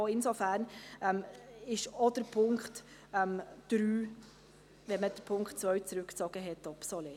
Insofern ist auch der Punkt 3 – nachdem der Punkt 2 zurückgezogen wurde – obsolet.